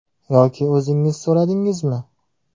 Yoki o‘zingiz so‘radingizmi?